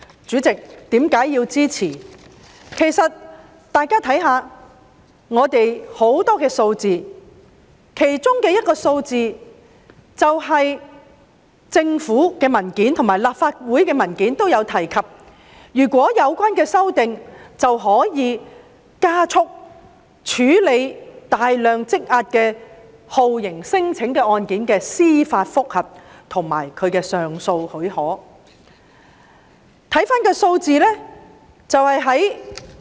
主席，其實大家可以看看很多數據，從而理解我支持《條例草案》的原因，當中一些數據是政府及立法會的文件也有提及的，如果通過有關修訂，便可加速處理大量積壓的酷刑聲請案件的司法覆核和上訴許可申請。